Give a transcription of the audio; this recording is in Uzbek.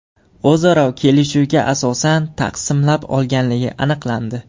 o‘zaro kelishuviga asosan taqsimlab olganligi aniqlandi.